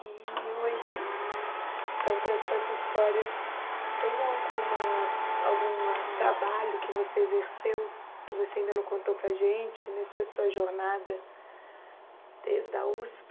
E hoje, de tantas tantas histórias, tem alguma alguma trabalho que você exerceu, que você ainda não contou para a gente, nessa sua jornada desde a USP?